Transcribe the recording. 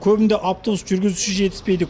көбінде автобус жүргізушісі жетіспейді